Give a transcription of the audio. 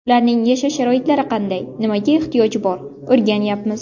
Ularning yashash sharoitlari qanday, nimaga ehtiyoji bor o‘rganyapmiz.